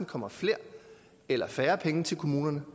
kommer flere eller færre penge til kommunerne